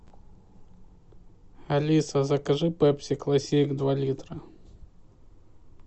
алиса закажи пепси классик два литра